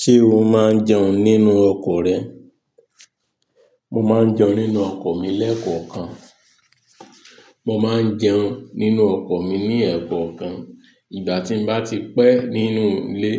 Ṣé o máa ń jẹun nínú ọkọ̀ rẹ? Mo máa ń jẹun nínú ọkọ̀ mi lẹ́ẹ̀kọ̀kan. Mo máa ń jẹun nínú ọkọ̀ mi ní ẹ̀kọ́ kan. Ìgbà tí mo bá ti pẹ́ nínú ilé